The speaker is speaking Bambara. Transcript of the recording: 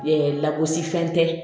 Ɛɛ lagosi fɛn tɛ